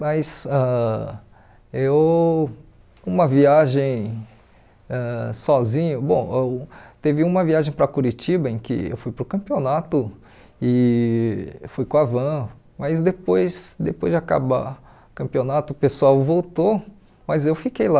Mas ãh eu, uma viagem ãh sozinho, bom, ãh teve uma viagem para Curitiba em que eu fui para o campeonato e fui com a van, mas depois depois de acabar o campeonato o pessoal voltou, mas eu fiquei lá.